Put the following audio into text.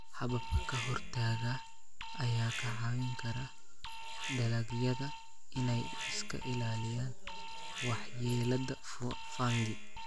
Hababka ka-hortagga ayaa ka caawin kara dalagyada inay iska ilaaliyaan waxyeellada fungi.